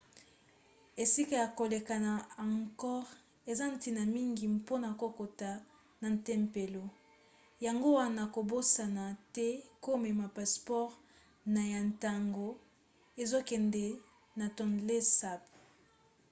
esika ya koleka na angkor eza ntina mingi mpona kokota na tempelo yango wana kobosana te komema passeport na yo ntango ozokende na tonlé sap